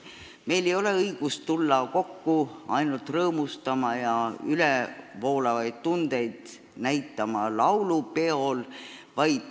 Meil ei ole õigust tulla kokku rõõmustama ja ülevoolavaid tundeid näitama üksnes laulupeol.